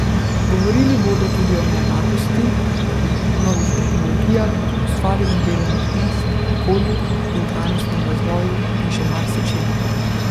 Govorili bodo tudi o neenakosti, novih tehnologijah, ustvarjanju delovnih mest, okolju in trajnostnem razvoju in še marsičem.